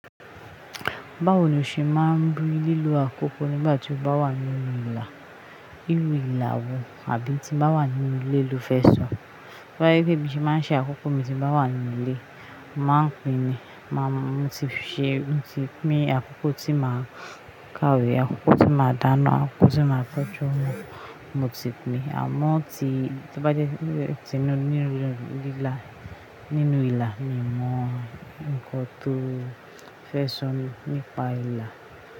Báwo ni o ṣe máa ń bínú lílo àkókò nígbà tí o bá wà nínú ìlà, ìlú ìlà wò àbí tí o bá wà nínú ilé lo fẹ́ sọ? To ba je pe bí mo ṣe máa ń ṣe àkókò mi tí mo bá wà nínú ilé, màá pin ni, máa mú ti ṣe, n ti pín akókò tí màá kawe, akókò tí màá dáná, akókò tí màá tọ́jú ọmọ, mo ti pín ni. Àmọ́ tí, tí bá jẹ́ ti nínú ìlà, nínú ìlà, mi mọ ǹkan tó fẹ́ ṣọ̀ni nípa ìlà.